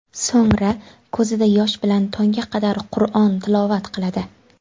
So‘ngra ko‘zida yosh bilan tongga qadar Qur’on tilovat qiladi.